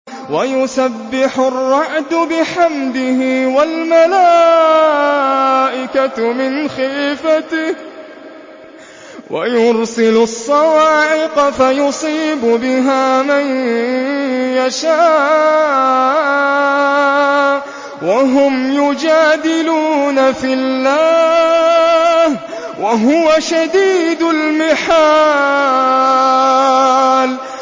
وَيُسَبِّحُ الرَّعْدُ بِحَمْدِهِ وَالْمَلَائِكَةُ مِنْ خِيفَتِهِ وَيُرْسِلُ الصَّوَاعِقَ فَيُصِيبُ بِهَا مَن يَشَاءُ وَهُمْ يُجَادِلُونَ فِي اللَّهِ وَهُوَ شَدِيدُ الْمِحَالِ